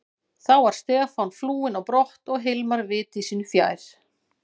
Þá var Stefán flúinn á brott og Hilmar viti sínu fjær.